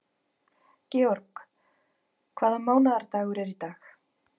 George, hvaða mánaðardagur er í dag?